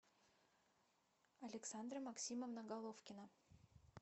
александра максимовна головкина